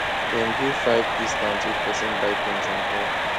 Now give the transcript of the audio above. dem give five discount if person buy things in bulk